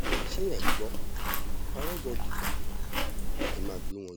ṣé ẹ̀ ń gbọ́ arọgọ́dígbà ẹ máa gbé wọn jù sílẹ̀